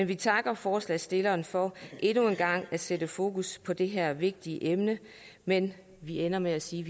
vi takker forslagsstillerne for endnu en gang at sætte fokus på det her vigtige emne men vi ender med at sige